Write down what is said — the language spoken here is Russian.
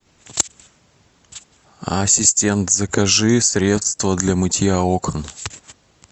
ассистент закажи средство для мытья окон